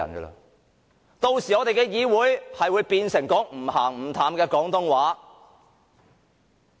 屆時，我們議會使用的語言便會變成"唔鹹唔淡"的廣東話。